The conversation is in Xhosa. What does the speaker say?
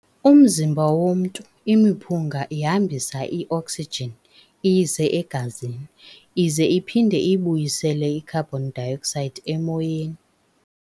Umzimba womntu, imiphunga ihambisa i-oxygen iyise e-gazini, ize iphinde ibuyisele i-carbon dioxide emoyeni.